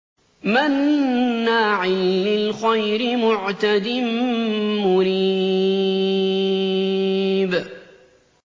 مَّنَّاعٍ لِّلْخَيْرِ مُعْتَدٍ مُّرِيبٍ